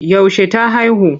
Yaushe ta haihu?